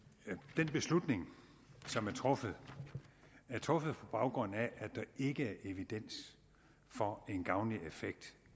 den beslutning som er truffet er truffet på baggrund af at der ikke er evidens for en gavnlig effekt